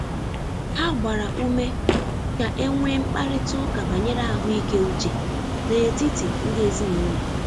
Ha gbara ume ka e nwee mkparịta ụka banyere ahụike uche n’etiti ndị ezinụlọ.